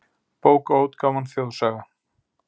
Bókaútgáfan Þjóðsaga.